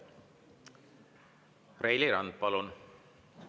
Reili Rand, palun!